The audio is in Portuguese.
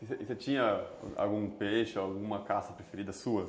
E você tinha algum peixe, alguma caça preferida sua?